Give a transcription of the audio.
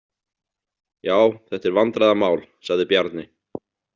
Já, þetta er vandræðamál, sagði Bjarni.